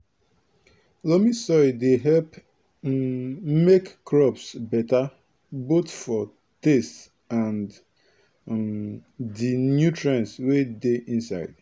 loamy soil dey help um make crops beta both for taste and um di nutrients wey dey inside